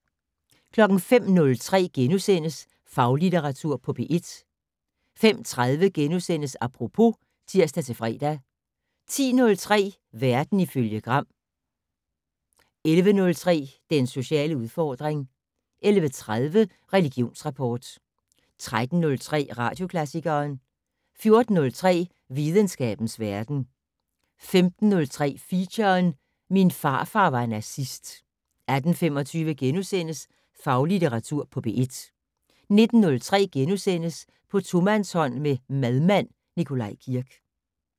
05:03: Faglitteratur på P1 * 05:30: Apropos *(tir-fre) 10:03: Verden ifølge Gram 11:03: Den sociale udfordring 11:30: Religionsrapport 13:03: Radioklassikeren 14:03: Videnskabens verden 15:03: Feature: Min farfar var nazist 18:25: Faglitteratur på P1 * 19:03: På tomandshånd med madmand Nikolaj Kirk *